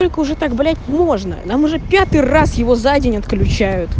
уже так блять можно нам уже пятый раз его задень отключи